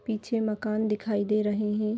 पीछे माकन दिखाई दे रहे हैं।